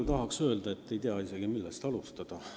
Ma tahan nii palju öelda, et ei tea, millest alustada.